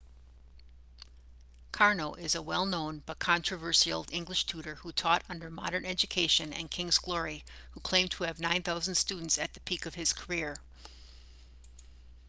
karno is a well-known but controversial english tutor who taught under modern education and king's glory who claimed to have 9,000 students at the peak of his career